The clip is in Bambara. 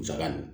Musaka don